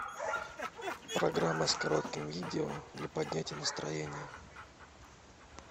программа с коротким видео для поднятия настроения